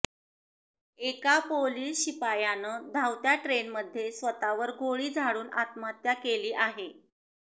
एका पोलीस शिपायानं धावत्या ट्रेनमध्ये स्वतावर गोळी झाडून आत्महत्या केली आहे